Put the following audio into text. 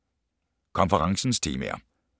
Konferencens temaer